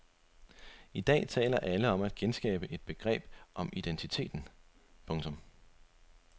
I dag taler alle om at genskabe et begreb om identiteten. punktum